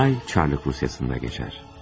Hadisə Çar Rusiyasında baş verir.